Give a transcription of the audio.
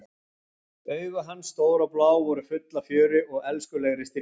Augu hans, stór og blá, voru full af fjöri og elskulegri stríðni.